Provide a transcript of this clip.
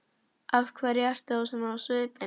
Af hverju ertu þá svona á svipinn?